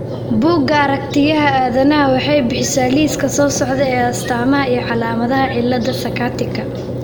Bugga Aragtiyaha Aadanaha waxay bixisaa liiska soo socda ee astaamaha iyo calaamadaha cillada Sakatika.